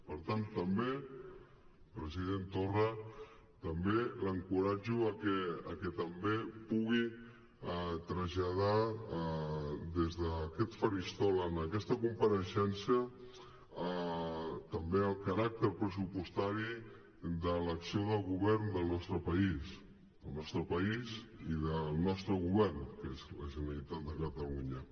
per tant també president torra l’encoratjo a que també pugui traslladar des d’aquest faristol en aquesta compareixença el caràcter pressupostari de l’acció del govern del nostre país del nostre país i del nostre govern que és la generalitat de catalunya